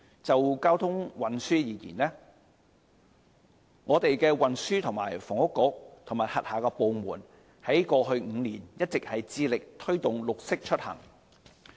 就交通運輸而言，運輸及房屋局和轄下部門在過去5年一直致力推動"綠色出行"。